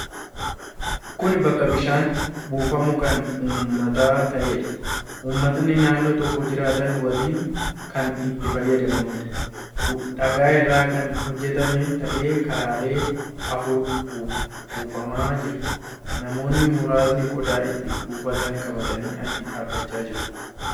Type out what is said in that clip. Kun bakka bishaanni buufamu kan uummataa ta'eedha. Uummatni naannoo tokko jiraatan waliin kan itti fayyadamaniidha. Dhagaa irraa kan hojjetame ta'ee karaalee afur buufamaa jira. Namoonni muraasni qodaa itti buufatan qabatanii achi dhaabbachaa jiru.